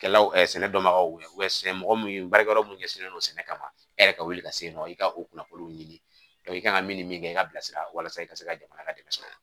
Kɛlaw sɛnɛ dɔnbagaw wele sɛnɛ mɔgɔ min baarakɛyɔrɔ mun ɲɛsinnen don sɛnɛ kama ma e yɛrɛ ka wuli ka se yen nɔ i ka o kunnafoniw ɲini i kan ka min ni min kɛ i ka bilasira walasa i ka se ka jamana ka dɛmɛ sɔrɔ